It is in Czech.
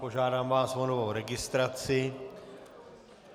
Požádám vás o novou registraci.